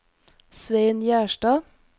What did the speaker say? Svein Gjerstad